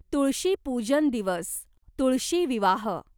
तुळशी पूजन दिवस, तुळशी विवाह